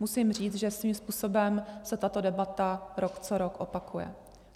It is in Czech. Musím říct, že svým způsobem se tato debata rok co rok opakuje.